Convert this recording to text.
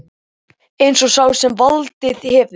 Eins og sá sem valdið hefur